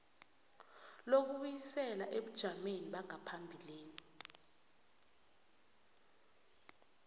lokubuyisela ebujameni bangaphambilini